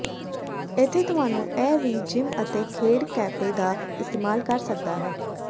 ਇੱਥੇ ਤੁਹਾਨੂੰ ਇਹ ਵੀ ਜਿੰਮ ਅਤੇ ਖੇਡ ਕੈਫੇ ਦਾ ਇਸਤੇਮਾਲ ਕਰ ਸਕਦਾ ਹੈ